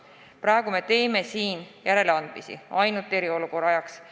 Praegu me teeme järeleandmisi ainult eriolukorra ajaks.